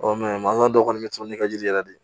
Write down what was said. mansa dɔ kɔni bɛ to ni ka jiri yɛrɛ de